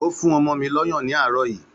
Ó fún ọmọ mi lọ́yàn ní àárọ̀ yìí